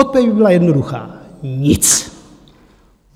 Odpověď by byla jednoduchá: Nic.